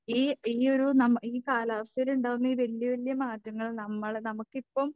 ഈ ഈയൊരു നമ്മ ഈ കാലാവസ്ഥയിലുണ്ടാകുന്ന ഈ വല്യ വല്യ മാറ്റങ്ങൾ നമ്മളെ നമുക്കിപ്പം